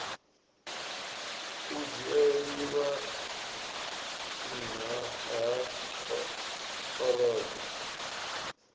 u dzhieliwa nha ha orobo